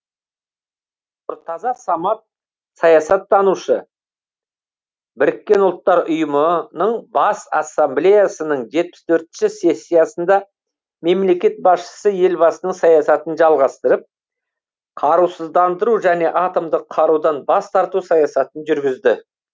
нұртаза самат саясаттанушы біріккен ұлттар ұйымының бас ассамблеясының жетпіс төртінші сессиясында мемлекет басшысы елбасының саясатын жалғастырып қарусыздандыру және атомдық қарудан бас тарту саясатын жүргізді